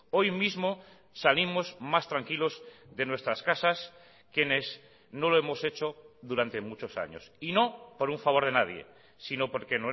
hoy mismo salimos más tranquilos de nuestras casas quienes no lo hemos hecho durante muchos años y no por un favor de nadie sino porque